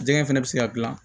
Jɛgɛ fɛnɛ bɛ se ka dilan